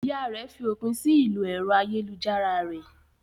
Ìyá rẹ̀ fi òpin sí ìlò ẹ̀rọ ayélujára rẹ̀.